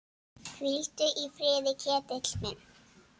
Hvíldu í friði, Ketill minn.